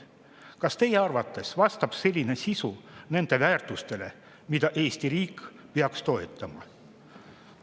Kas teie arvates vastab selline sisu nendele väärtustele, mida Eesti riik peaks toetama?